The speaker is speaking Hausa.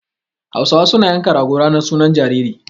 Hausawa suna yanka rago ranar sunan jariri.